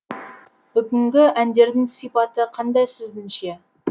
бүгінгі әндердің сипаты қандай сіздің ше